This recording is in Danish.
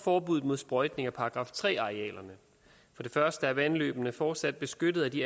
forbud mod sprøjtning af § tre arealerne for det første er vandløbene fortsat beskyttet af de